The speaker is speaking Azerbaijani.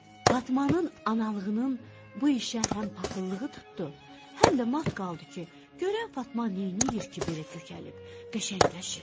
Fatmanın analığının bu işə həm paxıllığı tutdu, həm də mat qaldı ki, görən Fatma neyləyir ki, belə kökəlib qəşəngləşir.